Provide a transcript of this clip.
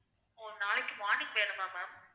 ஓ நாளைக்கு morning வேணுமா ma'am